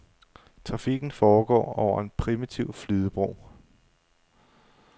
Trafikken foregår over en primitiv flydebro.